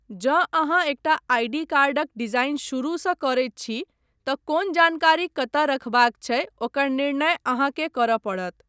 जँ अहाँ एकटा आई.डी. कार्डक डिजाइन शुरूसँ करैत छी तँ कोन जानकारी कतय रखबाक छै ओकर निर्णय अहाँकेँ करय पड़त।